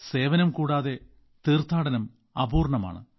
സേവനം കൂടാതെ തീർത്ഥാടനം അപൂർണ്ണമാണ്